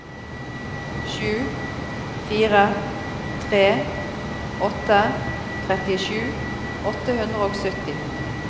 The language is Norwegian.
sju fire tre åtte trettisju åtte hundre og sytti